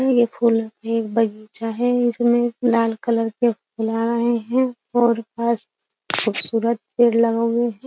ये फूल एक बगीचा है इसमें लाल कलर के फूल आ रहे हैं और पास खूबसूरत पेड़ लगा हुए हैं.